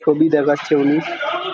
ছবি দেখাচ্ছে উনি।